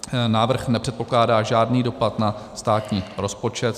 Návrh nepředpokládá žádný dopad na státní rozpočet.